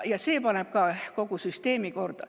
See teeb ka kogu süsteemi korda.